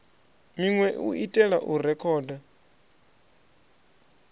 minwe u itela u rekhoda